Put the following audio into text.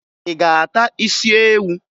Ị ga-ata isi ewu?